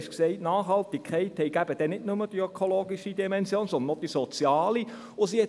Er hat gesagt, die Nachhaltigkeit habe nicht nur eine ökologische, sondern auch eine soziale Dimension.